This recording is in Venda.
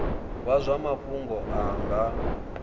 wa zwa mafhungo a nga